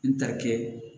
N tarikɛ